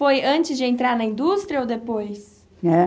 Foi antes de entrar na indústria ou depois? Eh,